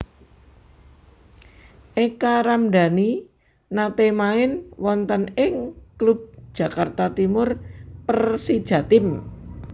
Eka Ramdani nate main wonten ing klub Jakarta Timur Persijatim